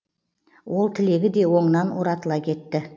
ол тілегі де оңынан оратыла кетті